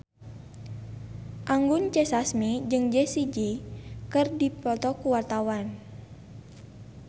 Anggun C. Sasmi jeung Jessie J keur dipoto ku wartawan